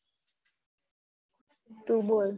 તું બોલ